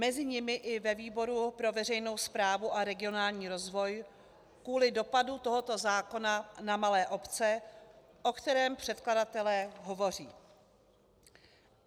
Mezi nimi i ve výboru pro veřejnou správu a regionální rozvoj kvůli dopadu tohoto zákona na malé obce, o kterém předkladatelé hovoří.